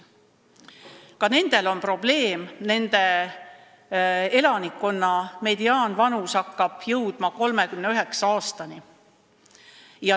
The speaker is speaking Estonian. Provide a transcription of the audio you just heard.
Ka nendel on probleem: nende elanikkonna mediaanvanus hakkab jõudma 39. eluaastani.